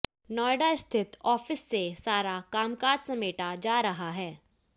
नोएडा स्थित आफिस से सारा कामकाज समेटा जा रहा है